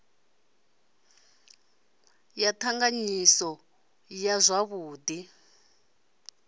ya t anganyisa zwavhud i